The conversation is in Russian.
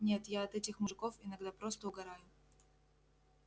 нет я от этих мужиков иногда просто угораю